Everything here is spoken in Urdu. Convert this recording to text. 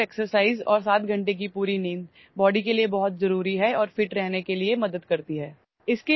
باقاعدگی سے ورزش اور 7 گھنٹے کی پوری نیند جسم کے لیے بہت ضروری ہے اور فٹ رہنے میں مدد دیتی ہے